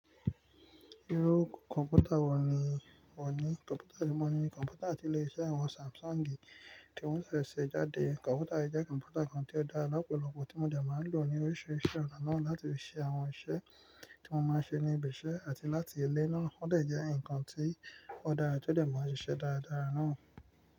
Irú kọ̀ǹpútà wọ̀ ní ọ̀ ní? Kọ̀ǹpútà tí mo ní ni kọ̀ǹpútà àtìléṣẹ́ àwọn Samsungi tí wọ́n ṣẹ̀ ṣẹ̀ jáde. Kọ̀ǹpútà yìí jẹ̀ kọ̀ǹpútà kan tí ó dára lọ́pọ̀lọpọ̀ tí mo dé máa n lọ̀ ní oríṣiríṣi ọ̀nà náà láti ṣẹ̀ àwọn ìṣẹ̀ tí mo máa n ṣẹ̀ ní ibi ìṣẹ̀ àti láti ilè ná. Ó dé jẹ̀ nǹkan tí ó dára tí ó dé ma sisẹ dára dára náà.